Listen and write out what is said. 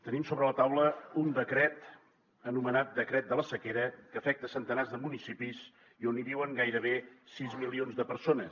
tenim sobre la taula un decret anomenat decret de la sequera que afecta centenars de municipis i on viuen gairebé sis milions de persones